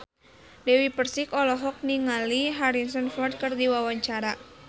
Dewi Persik olohok ningali Harrison Ford keur diwawancara